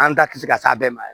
An da ti se ka s'a bɛɛ ma